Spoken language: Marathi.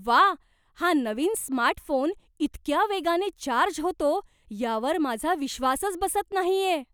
व्वा, हा नवीन स्मार्टफोन इतक्या वेगाने चार्ज होतो यावर माझा विश्वासच बसत नाहीये!